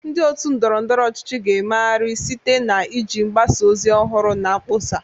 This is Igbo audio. Ndị otu ndọrọ ndọrọ ọchịchị ga-emegharị site na iji mgbasa ozi ọhụrụ na mkpọsa.